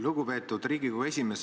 Lugupeetud Riigikogu esimees!